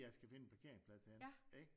Jeg skal finde en parkeringsplads henne ikke